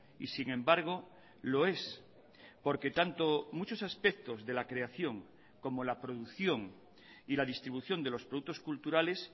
y sin embargo lo es porque tanto muchos aspectos de la creación como la producción y la distribución de los productos culturales